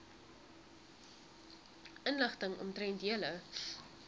inligting omtrent julle